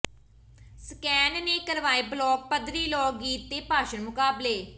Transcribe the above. scan ਨੇ ਕਰਵਾਏ ਬਲਾਕ ਪੱਧਰੀ ਲੋਕ ਗੀਤ ਤੇ ਭਾਸ਼ਣ ਮੁਕਾਬਲੇ